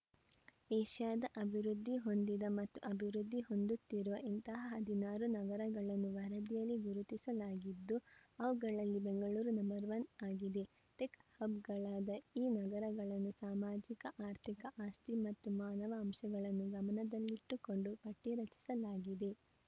ಏಷ್ಯಾದ ಅಭಿವೃದ್ಧಿ ಹೊಂದಿದ ಮತ್ತು ಅಭಿವೃದ್ಧಿ ಹೊಂದುತ್ತಿರುವ ಇಂತಹ ಹದಿನಾರು ನಗರಗಳನ್ನು ವರದಿಯಲ್ಲಿ ಗುರುತಿಸಲಾಗಿದ್ದು ಅವುಗಳಲ್ಲಿ ಬೆಂಗಳೂರು ನಂಬರ್ ಒನ್ ಆಗಿದೆ ಟೆಕ್‌ ಹಬ್‌ಗಳಾದ ಈ ನಗರಗಳನ್ನು ಸಾಮಾಜಿಕಆರ್ಥಿಕ ಆಸ್ತಿ ಮತ್ತು ಮಾನವ ಅಂಶಗಳನ್ನು ಗಮನದಲ್ಲಿಟ್ಟುಕೊಂಡು ಪಟ್ಟಿರಚಿಸಲಾಗಿದೆ